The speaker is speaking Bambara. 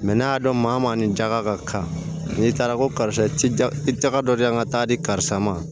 n'a y'a dɔn maa maa nin jaga ka kan n'i taara ko karisa i ti ja i tɛgɛ dɔ di yan ka taa di karisa ma